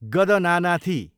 गदनानाथि